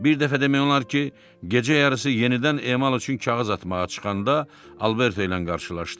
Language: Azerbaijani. Bir dəfə demək olar ki, gecə yarısı yenidən emal üçün kağız atmağa çıxanda Alberto ilə qarşılaşdı.